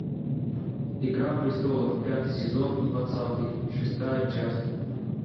игра престолов пятый сезон двадцатый шестая часть